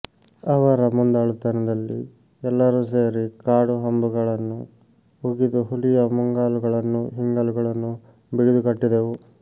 ಅವರ ಮುಂದಾಳುತನದಲ್ಲಿ ಎಲ್ಲರೂ ಸೇರಿ ಕಾಡುಹಂಬುಗಳನ್ನು ಉಗಿದು ಹುಲಿಯ ಮುಂಗಾಲುಗಳನ್ನೂ ಹಿಂಗಾಲುಗಳನ್ನೂ ಬಿಗಿದು ಕಟ್ಟಿದೆವು